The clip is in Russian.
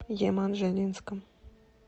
еманжелинском